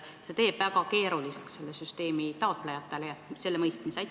Taotlejatel on väga keeruline seda süsteemi mõista.